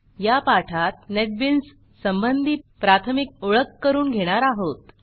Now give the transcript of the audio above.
ह्या पाठात नेटबीन्स संबंधी प्राथमिक ओळख करून घेणार आहोत